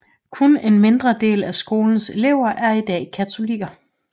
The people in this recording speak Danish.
Kun en mindre del af skolens elever er i dag katolikker